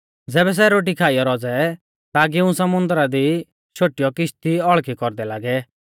ज़ैबै सै रोटी खाइऔ रौज़ै ता गिऊं समुन्दरा दी शोटीयौ किश्ती औल़खी कौरदै लागै